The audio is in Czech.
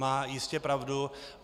Má jistě pravdu.